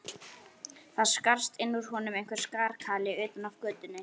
Það skarst inn úr honum einhver skarkali utan af götunni.